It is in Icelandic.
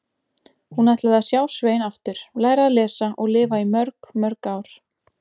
Hún ætlaði að sjá Svein aftur, læra að lesa og lifa í mörg, mörg ár.